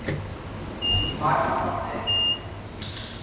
michiel van den